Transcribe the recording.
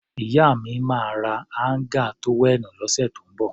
Ìyá mi máa ra áńgà tówẹ́ẹ̀nù lọ́sẹ̀ tó ń bọ̀.